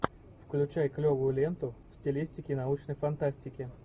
включай клевую ленту в стилистике научной фантастики